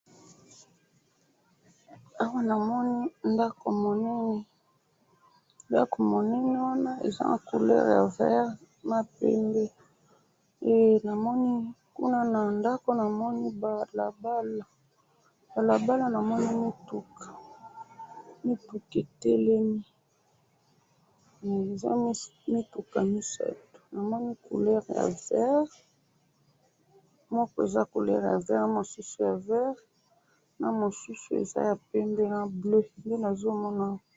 awa na moni ndaku monene ndaku monene wana eza na couleur ya vert na pembe na moni kuna ndaku na moni balabala na balala na moni mituka etelemi eza mituka misatu na moni moko eza na couleur ya vert na mosusu ya vert na mosusu eza na couleur ya pembe na bleu